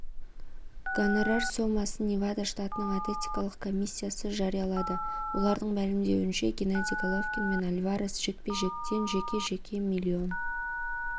гонорар сомасын невада штатының атетикалық коммисиясы жариялады олардың мәлімдеуінше генадий головкин мен альварес жекпе-жектен жеке-жеке миллион